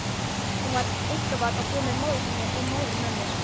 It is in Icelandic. Hún var einkabarn og bjó með móður sinni og móðurömmu.